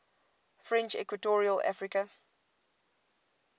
french equatorial africa